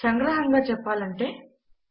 సంగ్రహింగా చెప్పలంటే160